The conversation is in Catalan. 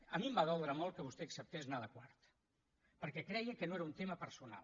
a mi em va doldre molt que vostè acceptés anar de quart perquè creia que no era un tema personal